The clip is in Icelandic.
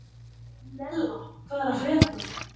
Nella, hvað er að frétta?